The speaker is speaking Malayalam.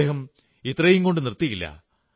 അദ്ദേഹം ഇത്രയും കൊണ്ടു നിർത്തിയില്ല